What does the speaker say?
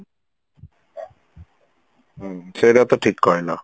ହ୍ମ ସେଇଟା ତ ଠିକ କହିଲ